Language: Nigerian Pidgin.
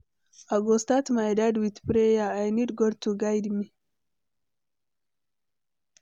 I go start my day with prayer, I need God to guide me.